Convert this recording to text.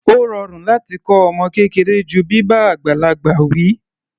Ó rọrùn láti kọ́ ọmọ kékeré ju bíbá àgbàlagbà wi.